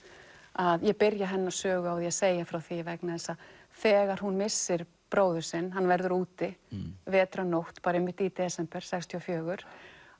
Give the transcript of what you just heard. að ég byrja hennar sögu á því að segja frá því vegna þess að þegar hún missir bróður sinn hann verður úti vetrarnótt einmitt í desember sextíu og fjögur